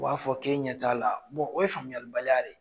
U b'a fɔ k'e ɲɛ t'a la o ye faamuya baliya de ye.